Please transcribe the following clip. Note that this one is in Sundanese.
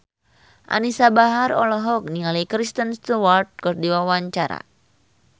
Anisa Bahar olohok ningali Kristen Stewart keur diwawancara